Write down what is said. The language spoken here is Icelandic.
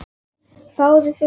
Fáðu þér sæti.